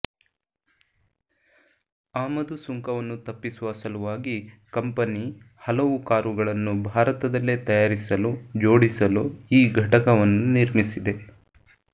ಆಮದು ಸುಂಕವನ್ನು ತಪ್ಪಿಸುವ ಸಲುವಾಗಿ ಕಂಪೆನಿ ಹಲವು ಕಾರ್ಗಳನ್ನು ಭಾರತದಲ್ಲೇ ತಯಾರಿಸಲು ಜೋಡಿಸಲು ಈ ಘಟಕವನ್ನು ನಿರ್ಮಿಸಿದೆ